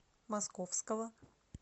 московского